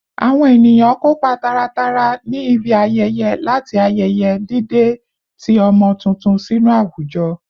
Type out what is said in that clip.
Awon eniyan kopa taratara ni ibi ayeye lati ayeye dide ti omo tuntun sinu awujo